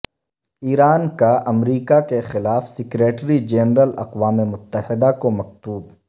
ایران کا امریکہ کیخلاف سکریٹری جنرل اقوام متحدہ کو مکتوب